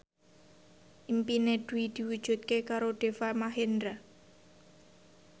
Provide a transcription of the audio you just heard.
impine Dwi diwujudke karo Deva Mahendra